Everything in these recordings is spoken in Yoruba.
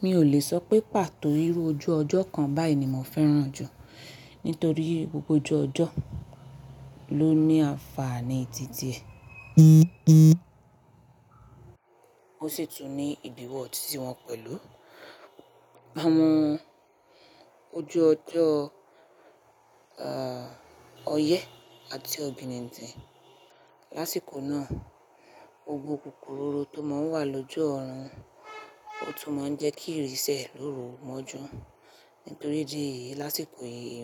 Mi ò lè sọ pé pàtó irú ojú ọjọ́ kan báyìí ni mò fẹ́ràn jù. Nítorí gbogbo ojú ọjọ́ ló ní àǹfààní tí tí è. Ó sì tún ní ìdíwọ́ tití wọn pẹ̀lú. À mọ ojú ọjọ́, oye àti ọ̀bìníǹtín. Lásìkò náà, gbogbo kukuroro tó máa ń wà lójú ọ̀run, ó tún máa ń jẹ́ kí ìrì sẹ̀ lóru mọ́jú. Nítorí idí èyí, lásìkò yìí.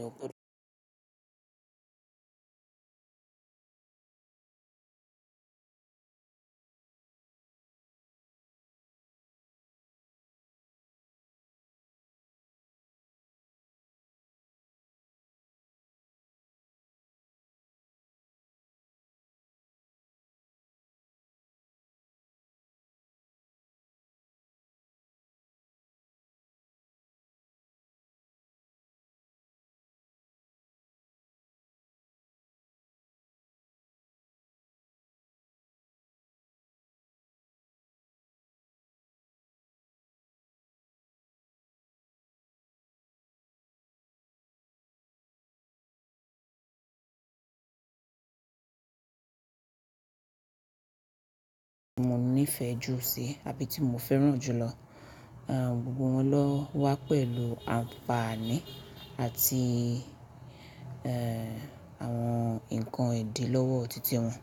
Mo nífẹ̀ẹ́ jù sí àbí tí mo fẹ́ràn jùlọ. Ẹ̀ gbogbo wọn lọ wá pẹ̀lú àǹfààní àti ẹ̀ àwọn ǹkan ìdí lọ́wọ́ títí wọn.